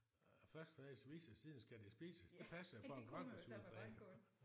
Først skal træets vises siden skal det spises det passer jo på en grønkålsjuletræ